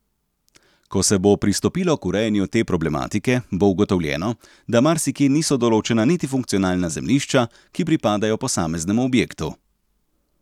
Ko se bo pristopilo k urejanju te problematike, bo ugotovljeno, da marsikje niso določena niti funkcionalna zemljišča, ki pripadajo posameznemu objektu.